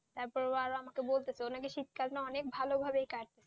তারপরও আরো আমাকে বলছে ও নাকি শীতকালটা অনেক ভালোভাবে কাটিয়েছে,